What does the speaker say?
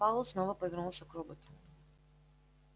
пауэлл снова повернулся к роботу